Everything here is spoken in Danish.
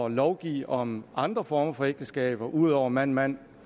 lovgive om andre former for ægteskaber ud over mand mand